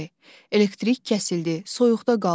Elektrik kəsildi, soyuqda qaldıq.